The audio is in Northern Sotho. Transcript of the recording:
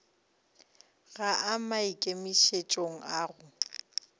ga a maikemišetšong a go